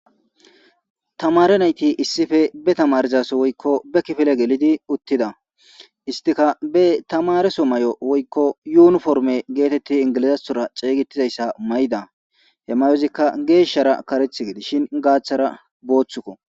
tamaare nayti issippe be tamaarizaso woykko be kifile gelidi uttida istika be tamareso may7o woykko yuuniforme geetetti ingilizathora xeygetizayssa may7'da he mayozikka geeshshara karethii gedishin gaaththara booththukko